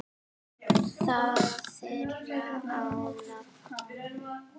Það var þeirra lán.